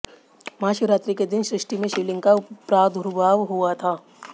महाशिवरात्रि के दिन सृष्टि में शिवलिंग का प्रादुर्भाव हुआ था